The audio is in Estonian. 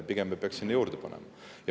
Pigem me peaksime juurde panema.